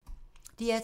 DR2